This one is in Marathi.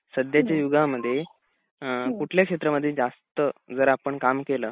सध्याच्या युगामध्ये अ कुठल्या क्षेत्रामध्ये जास्त जर आपण काम केलं